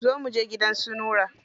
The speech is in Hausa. Zo mu je gidan su Nura.